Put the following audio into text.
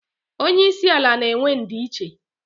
Onye isi ala na-enwe ndi nche